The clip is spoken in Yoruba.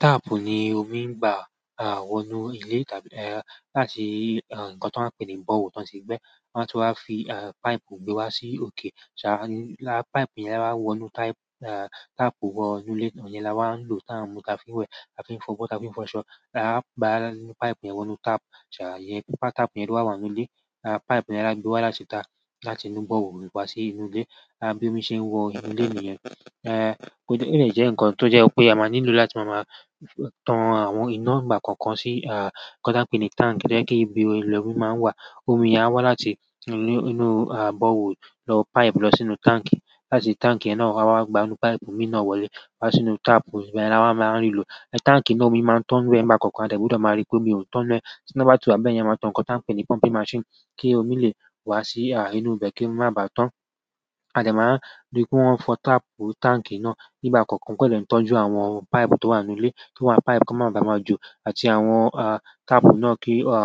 Tap ni omi ń gbà, wonú ilé tàbí láti nǹkan tó ń pé ní borehole tó ń ti gbẹ́, ti won a tun wa fi pipe gbé wá sí òkè, sáa lára pipe yẹn la wonú tap, tap wonú ilé, iyẹn la wá ń lò tán mú ta fi ń wẹ̀, ta fi ń fọ̀ bọ̀, ta fi ń fọ̀ ṣọ́. Pipe yẹn wonú tap, ṣà iyẹn pípa tap yẹn tó ba wà nínú ilé, pipe yẹn la gbé wá láti ta láti inú borehole wá sí inú ilé, bí omi ṣe ń wọ inú ilé niyẹn. Olé jẹ́ ǹkan tó jẹ́ pé a máa nílò láti máa máa tán àwọn iná ìgbà kankan sí à nǹkan tí a ń pè ní tank, to jẹ́ pe ibí yen lomi máa ń wà, omi yẹn á wá láti inú à borehole lọ pipe lọ sínú tank, láti tank yẹn náà a wá gba inú pipe mii náà wọlé wá sínú tap, yẹn la wá máa ń lò. Tank náà omi máa ń tán nínú ẹ́ nìgbà kankan, a de gbudo máa rí pé omi òún tán n nú ẹ́, tí ina bá ti wa bẹ́ yẹn máa ń tán ǹkan tí a ń pè ní pumping machine, kí omi lè wá sí inú ibẹ̀ kí ó má bá tán. A dẹ máa ń rí pé wọ́n ń fọ́ tap tank náà nígbà kankan, kó lè tọ́jú àwọn pipe tó wà nínú ilé kí awọ́n pipe kó má bá máa jo àti àwọn tapu náà kí a